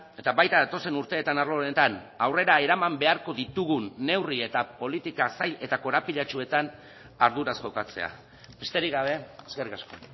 eta baita datozen urteetan arlo honetan aurrera eraman beharko ditugun neurri eta politika zail eta korapilatsuetan arduraz jokatzea besterik gabe eskerrik asko